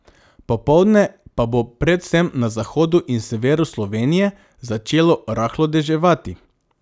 Popoldne pa bo predvsem na zahodu in severu Slovenije začelo rahlo deževati.